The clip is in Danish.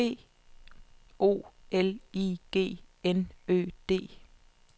B O L I G N Ø D